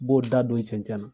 N b'o da don cɛncɛn na.